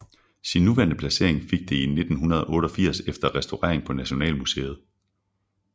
Sin nuværende placering fik det 1988 efter restaurering på Nationalmuseet